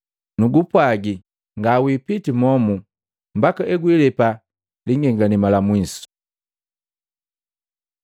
Nugupwaji, ngawipiti momu mbaka egwilepa lingengalema la mwisu.”